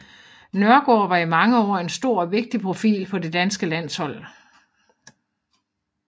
Nørgaard var i mange år en stor og vigtig profil på det danske landshold